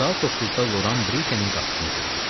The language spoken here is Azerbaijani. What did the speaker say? Saat 9-da Loran Brikenin qapısını döydü.